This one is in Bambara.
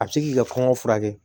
A bɛ se k'i ka kɔngɔ furakɛ